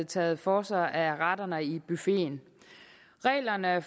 taget for sig af retterne i buffeten reglerne